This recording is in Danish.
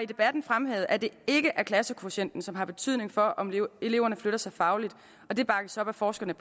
debatten fremhævet at det ikke er klassekvotienten som har betydning for om eleverne flytter sig fagligt og det bakkes op af forskerne